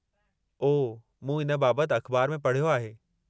ओह, मूं इन बाबति अख़बार में पढ़ियो आहे।